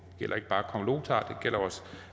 gælder os